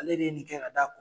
Ale de ye nin kɛ ka da kun